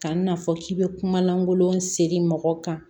Kan'a fɔ k'i bɛ kuma lankolon seri mɔgɔ kan